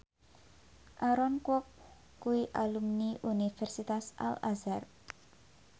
Aaron Kwok kuwi alumni Universitas Al Azhar